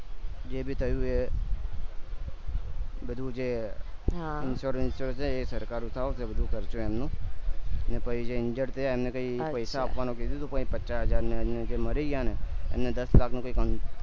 જેવી રીતે થયું એ રીતે બધું જે insurance જે છે સરકાર ખર્ચું એમનું ને પછી જે injured થયા એને કય પૈસા આપવાનું કીધું હતું પણ પચ્ચા હજાર ને એમનું મરી ગયા ને એને દસ લાખ નું